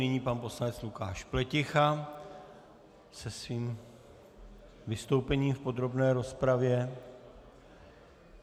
Nyní pan poslanec Lukáš Pleticha se svým vystoupením v podrobné rozpravě.